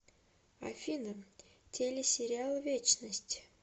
афина теле сериал вечность